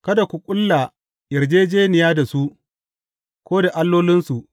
Kada ku ƙulla yarjejjeniya da su, ko da allolinsu.